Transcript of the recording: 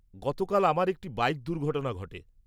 -গতকাল আমার একটি বাইক দুর্ঘটনা ঘটে।